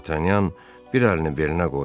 D'Artagnan bir əlini belinə qoydu.